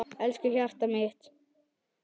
Elsku hjartað mitt.